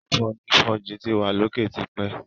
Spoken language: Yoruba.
Àfonífojì ti wa l'oke t'ipẹ.